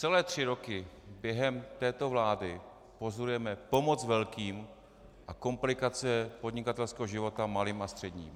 Celé tři roky během této vlády pozorujeme pomoc velkým a komplikace podnikatelského života malým a středním.